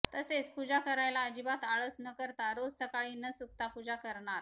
तसेच पूजा करायला अजिबात आळस न करता रोज सकाळी न चुकता पूजा करणार